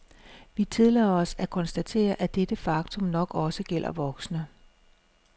Vi tillader os at konstatere, at dette faktum nok også gælder voksne.